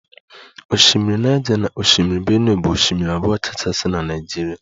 Osimiri Niger na osimiri benue bụ osimiri abụọ kachasị na Naịjirịa